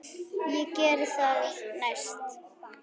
Ég geri það næst.